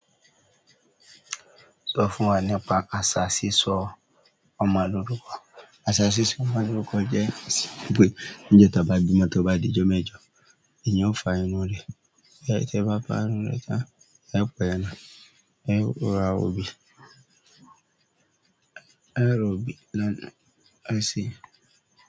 Sọ fún wa nípa àṣà sísọ ọmọ lórúkọ. Àṣà sísọ ọmọ lórúkọ jẹ́ wìpè ńijo tí ba gbìmọ̀ tó bá dì jómẹ́jọ, èyan ó fa irún rẹ̀. Ti e ba fa irun re tan, e o pa ẹran, e o ra orí e o ra òbí, e si.